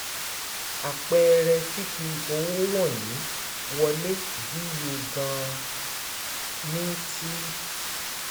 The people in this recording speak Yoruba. Àpẹẹrẹ fífi owó wọ̀nyí wọlé díye gan-an ní ti